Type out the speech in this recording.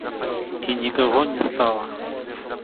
и никого не стало